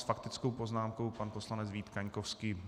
S faktickou poznámkou pan poslanec Vít Kaňkovský.